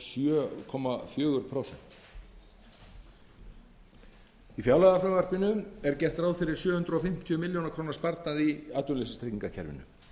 hluti hópsins einungis lokið grunnskólaprófi í fjárlagafrumvarpinu er gert ráð fyrir sjö hundruð fimmtíu milljóna króna sparnaði í atvinnuleysistryggingakerfinu